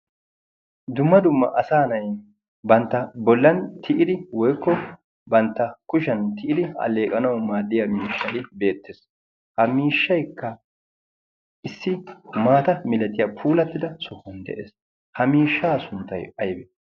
dumma dumma asa nay bantta bollan tiyidi woikko bantta kushiyan tiyidi alleeqanau maaddiya miishshali beettees ha miishshaykka issi maata milaxiyaa puulattida sowuan de'ees ha miishshaa sunttai aybe?